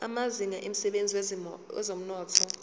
amazinga emsebenzini wezomnotho